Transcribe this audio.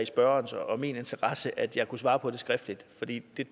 spørgerens og min interesse at jeg måtte svare på det skriftligt for det